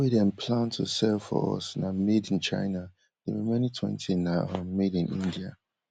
wey dem plan to sell for us na made in china di remaining twenty na um made in india